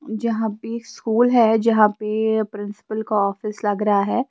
यहां पे स्कूल है यहां पे प्रिंसिपल का ऑफिस लग रहा है।